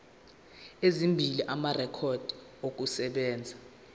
ezimbili amarekhodi okusebenza